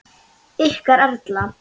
Ykkar Erla.